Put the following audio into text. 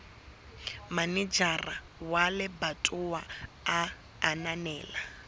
manejara wa lebatowa a ananela